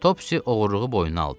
Topsy oğurluğu boynuna aldı.